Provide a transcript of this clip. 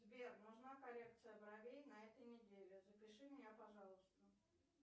сбер нужна коррекция бровей на этой неделе запиши меня пожалуйста